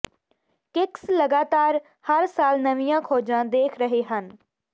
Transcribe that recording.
kicks ਲਗਾਤਾਰ ਹਰ ਸਾਲ ਨਵੀਆਂ ਖੋਜਾਂ ਦੇਖ ਰਹੇ ਹਨ